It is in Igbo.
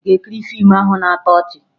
Ị ga-ekiri fiimu ahụ na-atọ ọchị?